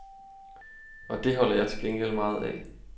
Og det holder jeg til gengæld meget af.